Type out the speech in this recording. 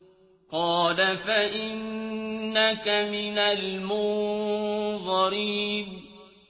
قَالَ فَإِنَّكَ مِنَ الْمُنظَرِينَ